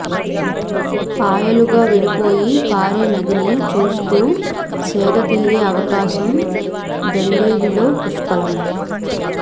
పాయలుగా విడిపోయి పారే నదిని చూస్తూ సేదతీరే అవకాశం దండేలిలో పుష్కలం